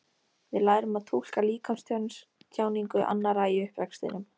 Við lærum að túlka líkamstjáningu annarra í uppvextinum.